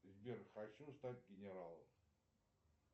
сбер хочу стать генералом